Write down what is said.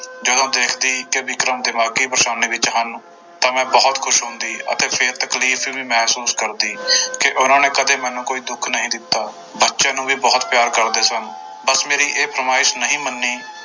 ਜਦੋਂ ਦੇਖਦੀ ਕਿ ਵਿਕਰਮ ਦਿਮਾਗੀ ਪਰੇਸਾਨੀ ਵਿੱਚ ਹਨ ਤਾਂ ਮੈਂ ਬਹੁਤ ਖ਼ੁਸ਼ ਹੁੰਦੀ ਅਤੇ ਫਿਰ ਤਕਲੀਫ਼ ਵੀ ਮਹਿਸੂਸ ਕਰਦੀ ਕਿ ਉਹਨਾਂ ਨੇ ਕਦੇ ਮੈਨੂੰ ਕੋਈ ਦੁੱਖ ਨਹੀਂ ਦਿੱਤਾ, ਬੱਚਿਆਂ ਨੂੰ ਵੀ ਬਹੁਤ ਪਿਆਰ ਕਰਦੇ ਸਨ, ਬਸ ਮੇਰੀ ਇਹ ਫੁਰਮਾਇਸ ਨਹੀਂ ਮੰਨੀ